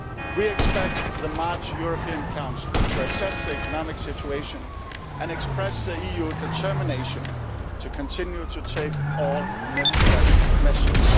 We expect the March European Council to assess the economic situation and express the EU's determination to continue to take all necessary measures.